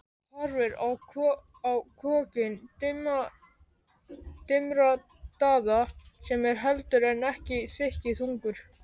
Horfir á kokkinn dimmraddaða sem er heldur en ekki þykkjuþungur.